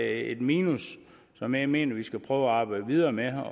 et minus som jeg mener vi skal prøve at arbejde videre med